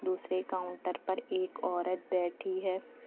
दूसरे काउंटर पर एक औरत बैठी है।